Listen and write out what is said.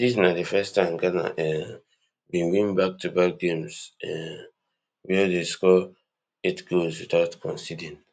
dis na di first time ghana um bin win backtoback games um wia dem score eight goals without conceding